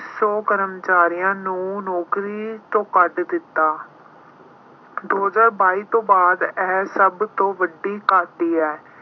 ਸੌ ਕਰਮਚਾਰੀਆਂ ਨੂੰ ਨੌਕਰੀ ਤੋਂ ਕੱਢ ਦਿੱਤਾ। ਦੋ ਹਜ਼ਾਰ ਬਾਈ ਤੋਂ ਬਾਅਦ ਇਹ ਸਭ ਤੋਂ ਵੱਡੀ ਹੈ।